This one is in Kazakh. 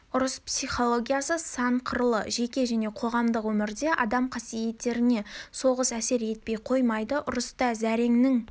ұрыс психологиясы сан қырлы жеке және қоғамдық өмірде адам қасиеттеріне соғыс әсер етпей қоймайды ұрыста зәреңнің